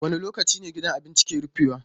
Wane lokaci ne gidan abincin ke rufewa?